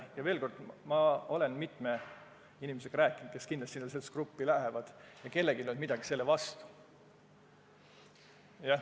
Ja veel kord: ma olen mitme inimesega rääkinud, kes kindlasti sellesse gruppi kuuluvad, ja kellelgi ei olnud midagi selle vastu.